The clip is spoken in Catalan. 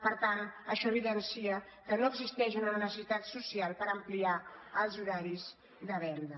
per tant això evidencia que no existeix una necessitat social per ampliar els horaris de venda